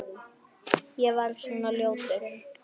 Var ég svona ljótur?